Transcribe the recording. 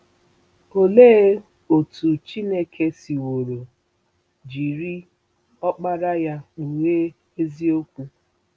Olee otú Chineke siworo jiri Ọkpara ya kpughee eziokwu?